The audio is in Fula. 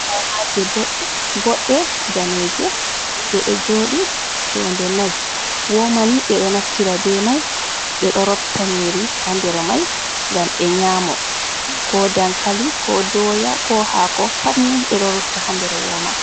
Womaje ɓoɗɗe boɗɗe daneje ɗeɗo joɗi jonde nai, womani ɓeɗo nafira be mai ɓeɗo rotta niyiri ha nder Mai ngam ɓe nyamo, ko dankali, ko doya, ko hako patni ɓeɗo rotta ha nder woma.